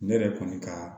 Ne yɛrɛ kɔni ka